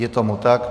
Je tomu tak.